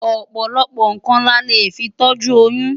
Ọ̀pọ̀lọpọ̀ nǹkan la lè fi tọ́jú oyún.